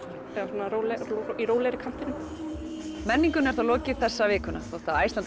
svona rólegt í rólegri kantinum menningunni er þá lokið þessa vikuna þótt Iceland